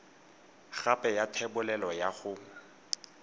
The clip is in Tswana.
gape ya thebolelo ya go